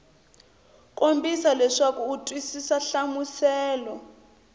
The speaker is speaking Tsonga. kombisa leswaku u twisisa nhlamuselo